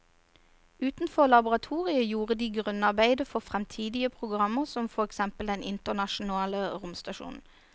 Utenfor laboratoriet gjorde de grunnarbeidet for fremtidige programmer som for eksempel den internasjonale romstasjonen.